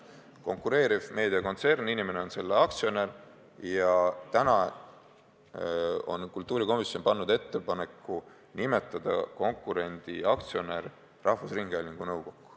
Konkureeriv meediakontsern, inimene on selle aktsionär – ja täna on kultuurikomisjon teinud ettepaneku nimetada konkurendi aktsionär rahvusringhäälingu nõukokku.